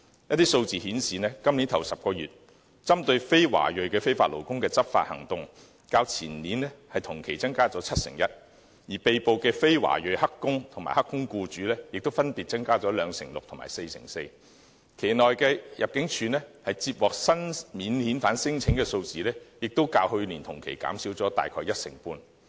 根據數字顯示，今年首10個月，針對非華裔非法勞工的執法行動，較前年同期增加七成一；而被捕的非華裔"黑工"及"黑工"僱主，亦分別增加兩成六及四成四；期內入境處接獲新免遣返聲請的數字，也較去年同期減少約一成半。